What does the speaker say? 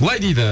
былай дейді